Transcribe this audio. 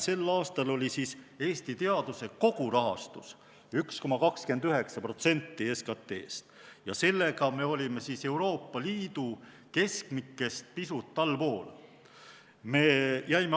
Sel aastal oli Eesti teaduse kogurahastus 1,29% SKT-st ja sellega me olime Euroopa Liidu keskmikest pisut allpool.